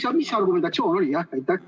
Või mis see argumentatsioon oli?